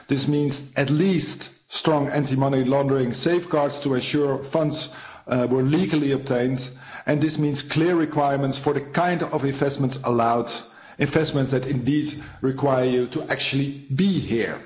This means at least strong anti-money laundering safeguards to ensure funds were legally obtained and this means clear requirements for the kind of investments allowed, investments that indeed require you to actually be here.